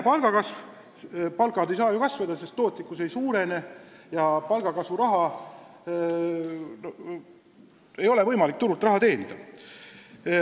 Palgad ei saa kasvada, sest tootlikkus ei suurene ja palgakasvuks vajalikku raha ei ole võimalik turul teenida.